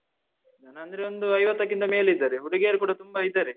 ಜನ ಅಂದ್ರೆ ಒಂದು ಐವತ್ತಕ್ಕಿಂತ ಮೇಲೆ ಇದ್ದಾರೆ. ಹುಡುಗಿಯರು ಕೂಡಾ ತುಂಬಾ ಇದ್ದಾರೆ.